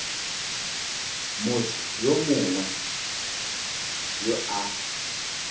motho yo mongwe yo a